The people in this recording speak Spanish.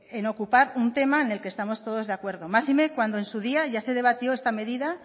en ocupar un tema en el que estamos todos de acuerdo máxime cuando en su día ya se debatió esta medida